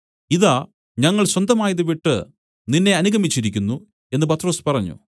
ഇതാ ഞങ്ങൾ സ്വന്തമായത് വിട്ടു നിന്നെ അനുഗമിച്ചിരിക്കുന്നു എന്നു പത്രൊസ് പറഞ്ഞു